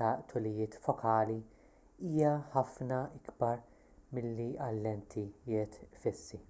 ta' tulijiet fokali hija ħafna ikbar milli għal lentijiet fissi